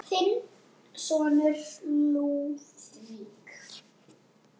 Þinn sonur, Lúðvík.